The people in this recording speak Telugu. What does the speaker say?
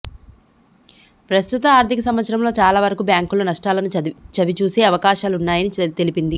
ప్రస్తుత ఆర్థిక సంవత్సరంలో చాలా వరకు బ్యాంక్లు నష్టాలను చవి చూసే అవకాశాలున్నాయని తెలిపింది